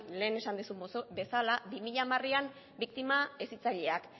lehen esan duzun bezala bi mila hamarean biktima hezitzaileak